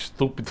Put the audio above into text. Estúpido.